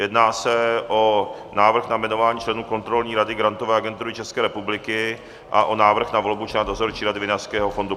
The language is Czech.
Jedná se o návrh na jmenování členů Kontrolní rady Grantové agentury České republiky a o návrh na volbu člena Dozorčí rady Vinařského fondu.